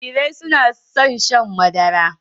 Jarirai na da son shan madara